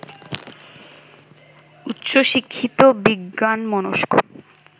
উচ্চ শিক্ষিত বিজ্ঞানমনস্ক